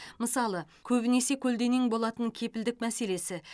мысалы көбінесе көлденең болатын кепілдік мәселесі